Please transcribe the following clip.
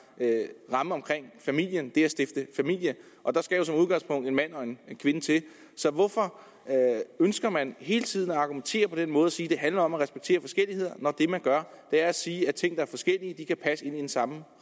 ramme omkring familien det at stifte familie og der skal jo som udgangspunkt en mand og kvinde til det så hvorfor ønsker man hele tiden at argumentere på den måde og sige at det handler om at respektere forskelligheder når det man gør er at sige at ting der er forskellige kan passe ind i den samme